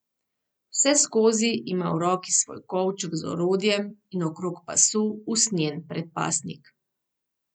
Vseskozi ima v roki svoj kovček z orodjem in okrog pasu usnjen predpasnik.